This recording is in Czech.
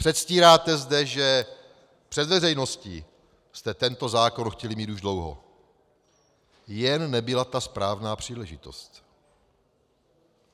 Předstíráte zde, že - před veřejností - jste tento zákon chtěli mít už dlouho, jen nebyla ta správná příležitost.